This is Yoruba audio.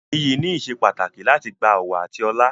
Iyì ni ìsepàtàkì láti gba ọ̀wọ̀ àti ọlá.